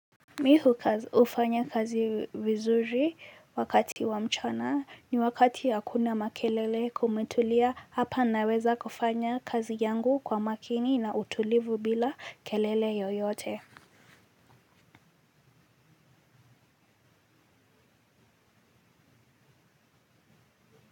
Mimi hufanya kazi vizuri wakati wa mchana ni wakati hakuna makelele kumetulia hapa naweza kufanya kazi yangu kwa makini na utulivu bila kelele yoyote.